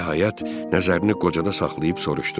Nəhayət nəzərini qocada saxlayıb soruşdu.